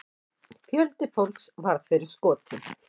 Fjöldi fólks varð fyrir skotum.